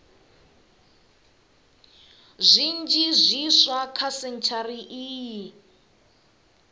zwinzhi zwiswa kha sentshari iyi